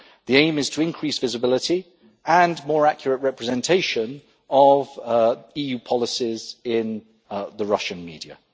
The aim is to increase visibility and more accurate representation of EU policies in the Russian media.